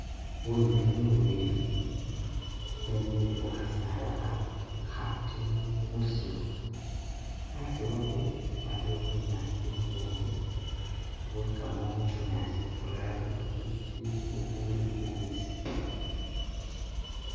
Binywinywi bubili bwemile khukhasaala kha khatini musiru aasi wabwo waliwo bunyaasi bubwoomu, bulikamo bunyaasi bulala bufwiti bubuli bubisi